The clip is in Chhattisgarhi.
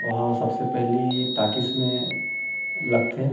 वहाँ सबसे पहली टाकिस में लगथे--